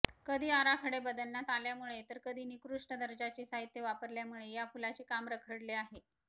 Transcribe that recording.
कधी आराखडे बदलण्यात आल्यामुळे तर कधी निकृष्ट दर्जाचे साहित्य वापरल्यामुळे या पुलाचे काम रखडले आहे